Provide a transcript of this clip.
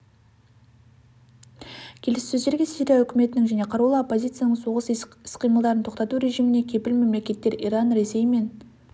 келіссөздерге сирия үкіметінің және қарулы оппозицияның соғыс іс-қимылдарын тоқтату режиміне кепіл мемлекеттер иран ресей мен